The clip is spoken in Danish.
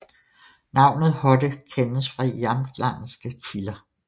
Navnet Hodde kendes fra jamtlandske kilder